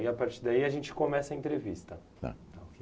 a partir daí, a gente começa a entrevista. Tá. Tá ok.